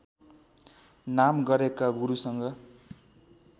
नाम गरेका गुरुसँग